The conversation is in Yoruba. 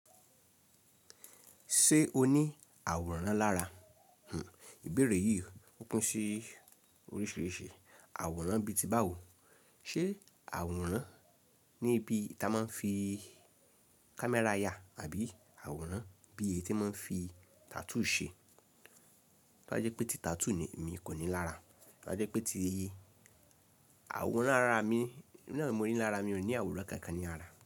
Ṣé o ní àwòrán lára? Àwòrán bí i tí ba wo, ṣe àwòrán ní ibi ta máa ń fi camera ya àbí àwòrán bí èyí tí wọ́n máa ń fi tattoo ṣe? Tó bá jẹ́ pé ti tattoo mi kò ní lára, tó bá jẹ́ pé tii, àwòrán ara mi èmi náà mo ní lára, mi ò ní àwòrán kan kan ní ara.